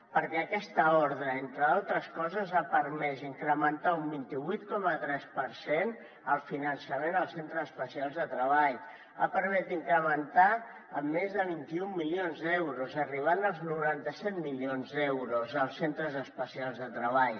perquè aquesta ordre entre altres coses ha permès incrementar un vint vuit coma tres per cent el finançament als centres especials de treball ha permès incrementar amb més de vint un milions d’euros arribant als noranta set milions d’euros els centres especials de treball